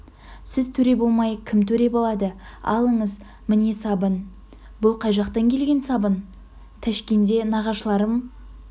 сіз төре болмай кім төре болады алыңыз міне сабын бұл қай жақтан келген сабын тәшкенде нағашыларым